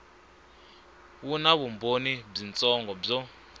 wu na vumbhoni byitsongo byo